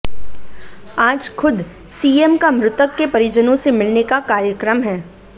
आज खुद सीएम का मृतक के परिजनों से मिलने का कार्यक्रम है